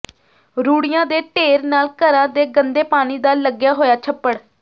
ਰੂੜੀਆਂ ਦੇ ਢੇਰ ਨਾਲ ਘਰਾਂ ਦੇ ਗੰਦੇ ਪਾਣੀ ਦਾ ਲੱਗਿਆ ਹੋਇਆ ਛੱਪੜ